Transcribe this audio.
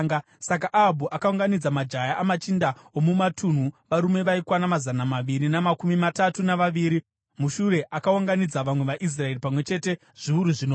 Saka Ahabhu akaunganidza majaya amachinda omumatunhu, varume vaikwana mazana maviri namakumi matatu navaviri. Mushure akaunganidza vamwe vaIsraeri, pamwe chete zviuru zvinomwe.